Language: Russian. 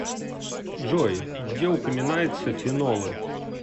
джой где упоминается фенолы